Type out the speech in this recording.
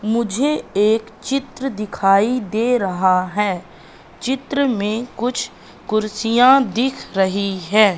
मुझे एक चित्र दिखाई दे रहा हैं चित्र में कुछ कुर्सियाँ दिख रही हैं।